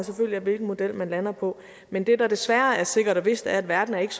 af hvilken model man lander på men det der desværre er sikkert og vist er at verden ikke